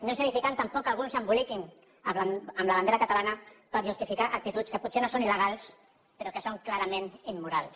no és edificant tampoc que alguns s’emboliquin amb la bandera catalana per justificar actituds que potser no són il·legals però que són clarament immorals